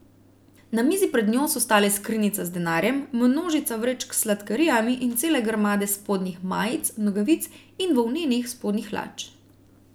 Na mizi pred njo so stale skrinjica z denarjem, množica vrečk s sladkarijami in cele grmade spodnjih majic, nogavic in volnenih spodnjih hlač.